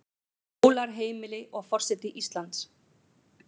Skólar, heimili, og forseti Íslands.